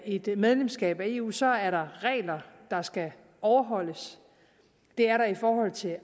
et medlemskab af eu så er der regler der skal overholdes det er der i forhold til